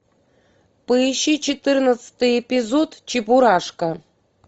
поищи четырнадцатый эпизод чебурашка